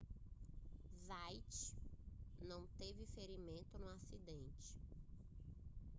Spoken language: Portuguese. zayat não teve ferimentos no acidente